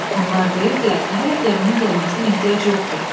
Onlar deyirdilər ki, hələ gəminin gəlməsinə ehtiyac yoxdur.